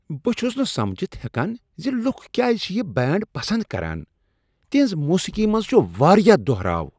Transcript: بہٕ چھس نہٕ سمجتھ ہیکاان زِ لکھ کیازِ چھ یہ بینڈ پسند کران۔ تہنٛز موسیقی منز چھُ واریاہ دہراو۔